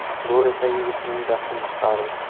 Bu esa yigitning jahlini chiqardi.